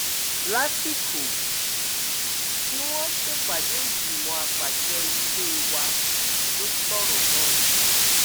lásìkò tí wọn ń ṣèpàdé ìgbìmọ àpasẹ ilé wa ló sọrọ náà